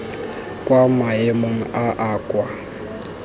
kwa maemong a a kwa